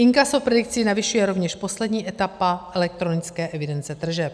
Inkaso predikce navyšuje rovněž poslední etapa elektronické evidence tržeb.